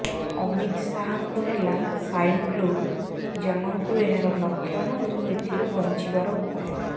ଅମିତ ଶାହାଙ୍କୁ ହେଲା swine flu ଜାଣନ୍ତୁ ଏହାର ଲକ୍ଷଣ ଓ ଏଥିରୁ ବଂଚିବାର ଉପାୟ